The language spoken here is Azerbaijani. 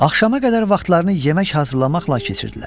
Axşama qədər vaxtlarını yemək hazırlamaqla keçirdilər.